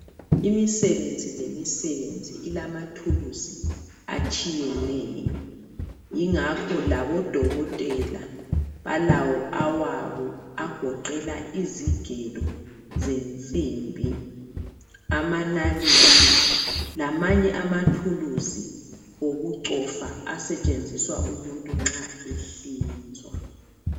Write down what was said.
Imisebenzi lemisebenzi ilama thulusi atshiyeneyo ingakho labodokotela balawo awabo agoqela izigelo zensimbi, amanalithi lamanye ama thuluzi okucofa asetshenziswa umuntu nxa ehlinzwa.